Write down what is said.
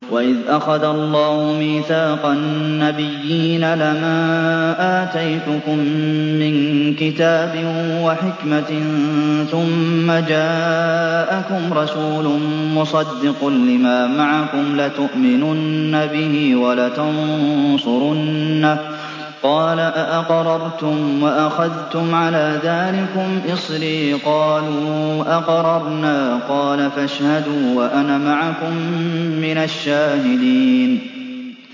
وَإِذْ أَخَذَ اللَّهُ مِيثَاقَ النَّبِيِّينَ لَمَا آتَيْتُكُم مِّن كِتَابٍ وَحِكْمَةٍ ثُمَّ جَاءَكُمْ رَسُولٌ مُّصَدِّقٌ لِّمَا مَعَكُمْ لَتُؤْمِنُنَّ بِهِ وَلَتَنصُرُنَّهُ ۚ قَالَ أَأَقْرَرْتُمْ وَأَخَذْتُمْ عَلَىٰ ذَٰلِكُمْ إِصْرِي ۖ قَالُوا أَقْرَرْنَا ۚ قَالَ فَاشْهَدُوا وَأَنَا مَعَكُم مِّنَ الشَّاهِدِينَ